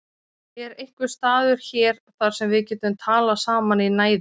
Er einhver staður hér þar sem við getum talað saman í næði?